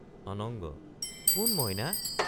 অনঙ্গ—কোন মইনা?